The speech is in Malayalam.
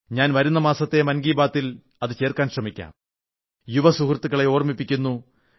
ഞാൻ വരുന്ന മാസത്തെ മൻ കീ ബാത്തിൽ അവ ചേർക്കാൻ ശ്രമിക്കാം യുവസുഹൃത്തുക്കളെ ഓർമ്മിപ്പിക്കുന്നു